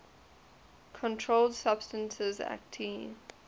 controlled substances acte